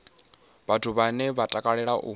vhathu vhane vha takalela u